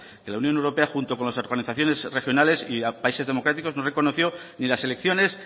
que la unión europea junto con las organizaciones regionales y países democráticos no reconoció ni las elecciones